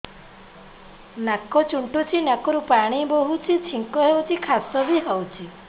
ନାକ ଚୁଣ୍ଟୁଚି ନାକରୁ ପାଣି ବହୁଛି ଛିଙ୍କ ହଉଚି ଖାସ ବି ହଉଚି